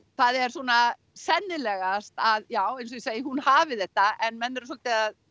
það er svona sennilegast að já eins og ég segi að hún hafi þetta en menn eru svolítið að